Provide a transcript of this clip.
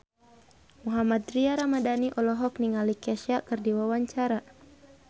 Mohammad Tria Ramadhani olohok ningali Kesha keur diwawancara